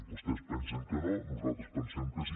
vostès pensen que no nosaltres pensem que sí